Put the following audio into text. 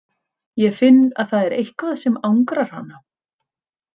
Ég finn að það er eitthvað sem angrar hana.